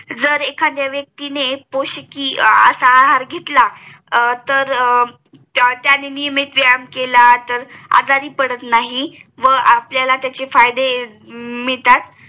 जर एखाद्या व्यक्तीने पोश्किय असा आहार घेतला त्याने नियमित व्यायाम केला तर आजारी पडत नाही व आपल्याला त्याचे फायदे मिळतात